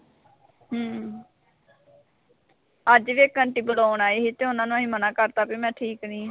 ਅੱਜ ਵੀ ਇੱਕ ਆਂਟੀ ਬੁਲਾਉਣ ਆਏ ਸੀ ਤੇ ਉਨ੍ਹਾਂ ਨੂੰ ਅਸੀਂ ਮਨਾ ਕਰਤਾ ਵੀ ਮੈਂ ਠੀਕ ਨਈਂ ਆਂ।